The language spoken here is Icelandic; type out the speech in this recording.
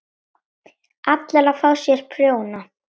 ALLIR AÐ FÁ SÉR PRJÓNA!